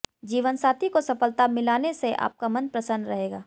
जीवनसाथी को सफलता मिलाने से आपका मन प्रसन्न रहेगा